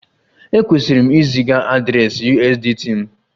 Ekwesịrị m iziga adreesị USDT m?